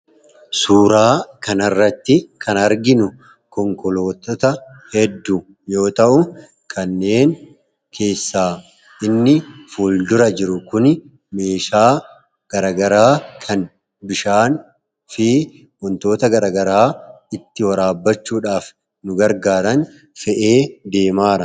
Suuraa kana irratti kan arginu konkolaattota hedduu yoo ta'u. kanneen keessaa inni fuulduraa jiru kun meeshaa gara garaa kan bishaan fi wantoota garagaraa itti waraabbachuudhaaf nu gargaaran fe'ee deemaa jirudha.